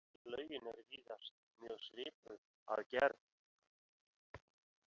Lögin eru víðast mjög svipuð að gerð.